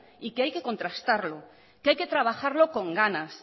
y que hay que contrastarlo que hay que trabajarlo con ganas